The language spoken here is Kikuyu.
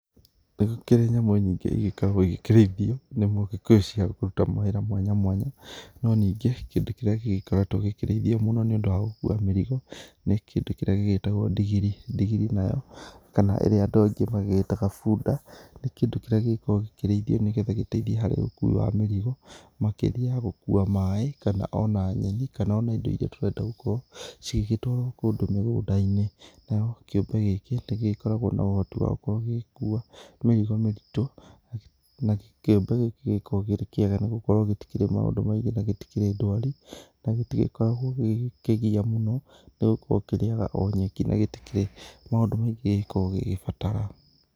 Nĩ gũkĩrĩ nyamũ nyingĩ igĩkoragwo ikĩrĩthio nĩ Mũgĩkũyũ cia kũruta mawĩra mwanya mwanya, no ningĩ kĩndũ kĩrĩa gĩgĩkoretwo gĩkĩrĩithio mũno nĩ ũndũ wa gũkua mĩrigo, nĩ kĩndũ kĩrĩa gĩgĩtagwo ndigiri . Ndigiri nayo kana ĩrĩa andũ aingĩ magĩgĩtaga bunda, nĩ kĩndũ kĩrĩa gĩkoragwo gĩkĩrĩthio nĩgethie harĩ ũkui wa mĩrigo makĩria ya gũkua maĩ kana ona nyeki kana ona indo iria tũrenda cigĩtwarwo kũndũ mĩgũnda-inĩ. Nao kĩumbe gĩkĩ nĩgĩkoragwo na ũhoti wa gũkorwo gĩgĩkua mĩrigo mĩritũ, na kĩumbe gĩkĩ gĩkoragwo kĩrĩ kĩega nĩ tondũ gĩtikĩrĩ maũndũ maingĩ na gĩtikĩrĩ ndwari na gĩtigĩkoragwo gĩkĩgia mũno nĩ gũkorwo kĩrĩaga o nyeki na gĩtikĩrĩ maũndũ maingĩ gĩgĩkoragwo gĩgĩbatara.